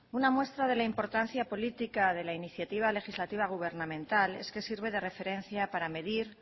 una muestra de la importancia política de la iniciativa legislativa gubernamental es que sirve de referencia para medir